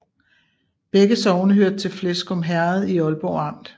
Begge sogne hørte til Fleskum Herred i Ålborg Amt